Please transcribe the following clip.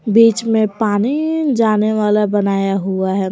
बीच में पानी जाने वाला बनाया हुआ है।